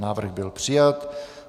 Návrh byl přijat.